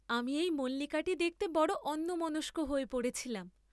আমি এই মল্লিকাটি দেখতে বড় অন্যমনস্ক হয়ে পড়েছিলেম।